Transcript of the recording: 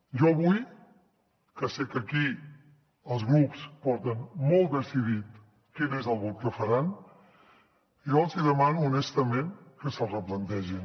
jo avui que sé que aquí els grups porten molt decidit quin és el vot que faran els hi demano honestament que se’ls replantegin